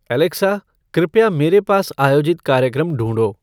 Alexa कृपया मेरे पास आयोजित कार्यक्रम ढूँढो